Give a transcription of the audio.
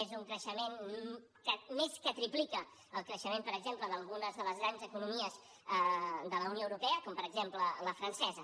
és un creixement que més que triplica el creixement per exemple d’algunes de les grans economies de la unió europea com per exemple la francesa